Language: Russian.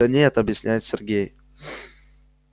да нет объясняет сергей